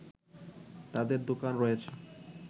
তাদের দোকান রয়েছে